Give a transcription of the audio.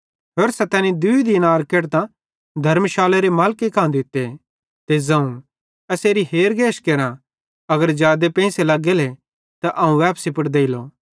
होरसां तैनी दूई दीनार केढतां धर्मशालरे मालिके कां दित्ते ते ज़ोवं एसेरी हेरगेश करां अगर जादे लग्गेले त अवं वैपसी पुड़ देलो